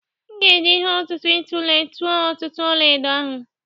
M ga-eji ihe ọ̀tụ̀tụ̀ itule tụọ ọ̀tụ̀tụ̀ ọlaedo ahụ.